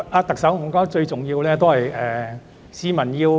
特首，最重要的是讓市民明白。